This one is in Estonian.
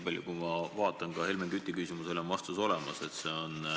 Vähemalt Helmen Küti küsimusele on vastus olemas.